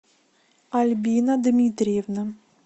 альбина дмитриевна